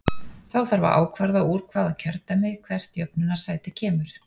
Þá þarf að ákvarða úr hvaða kjördæmi hvert jöfnunarsæti kemur.